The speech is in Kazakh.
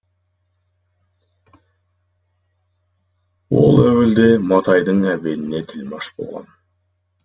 ол әуелде матайдың әбеніне тілмаш болған